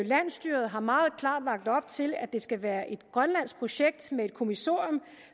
landsstyret har meget klart lagt op til at det skal være et grønlandsk projekt med et kommissorium